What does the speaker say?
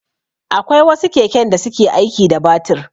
Akwai wasu keken da suke aiki da batir.